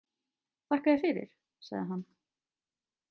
Þakka þér fyrir, sagði hann.